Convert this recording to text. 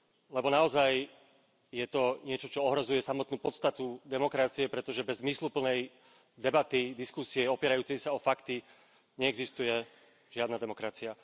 Lebo naozaj je to niečo, čo ohrozuje samotnú podstatu demokracie, pretože bez zmysluplnej debaty, diskusie opierajúcej sa o fakty neexistuje žiadna demokracia.